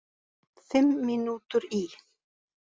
Fimm mínútur í